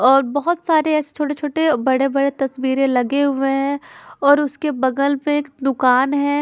और बहोत सारे ऐसे छोटे-छोटे बड़े-बड़े तस्वीरे लगे हुए हैं और उसके बगल में एक दूकान है।